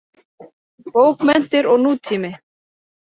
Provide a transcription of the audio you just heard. Bókmenntir og nútími.